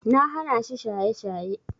Na hanashi shaye-shaye.